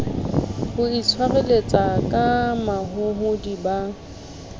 ho itshwareletsa ka mahohodi ba